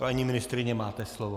Paní ministryně, máte slovo.